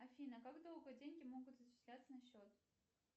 афина как долго деньги могут зачисляться на счет